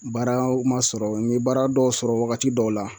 Baara o ma sɔrɔ n ye baara dɔw sɔrɔ wagati dɔw la